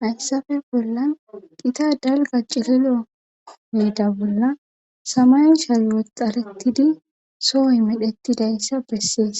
Hayssafe bolla qita dalga cililo miida bolla samay shalwoxarettidi sohoy medheti dayssa bessees